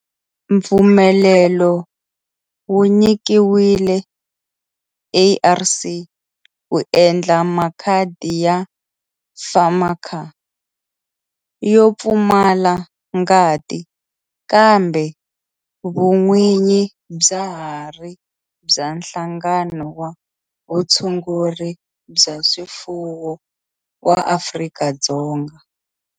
Mpfumelelo wu nyikiwile ARC ku endla makhadi ya FAMACHA yo pfumala ngati kambe vun'winyi bya ha ri bya Nhlangano wa Vutshunguri bya swifuwo wa Afrika-Dzonga